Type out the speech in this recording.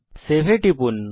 save এ টিপুন